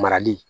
Marali